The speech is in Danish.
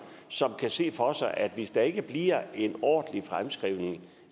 som kan se for sig at hvis der ikke bliver en ordentlig fremskrivning